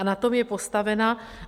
A na tom je postavena.